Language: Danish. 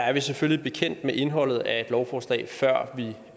er vi selvfølgelig bekendt med indholdet af et lovforslag før det